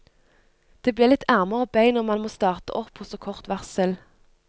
Det blir litt armer og bein når man må starte opp på så kort varsel.